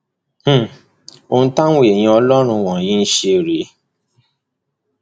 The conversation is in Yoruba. um ohun táwọn èèyàn ọlọrun wọnyí ń ṣe rèé